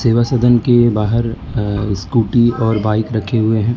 वा सदन के बाहर अ स्कूटी और बाइक रखे हुए हैं।